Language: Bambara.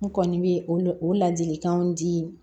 N kɔni bɛ o o ladilikanw di